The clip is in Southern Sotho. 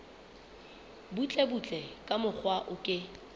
butlebutle ka mokgwa o ke